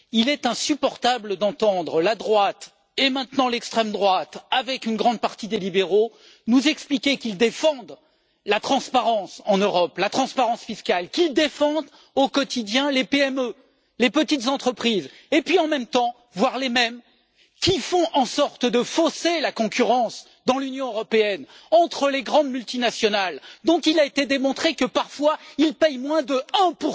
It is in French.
Il est insupportable d'entendre la droite et maintenant l'extrême droite, avec une grande partie des libéraux, nous expliquer qu'ils défendent la transparence en Europe, la transparence fiscale, qu'ils défendent au quotidien les PME et les petites entreprises et, en même temps, de voir les mêmes qui font en sorte de fausser la concurrence dans l'Union européenne entre les grandes multinationales, dont il a été démontré que, parfois, elles payent moins de 1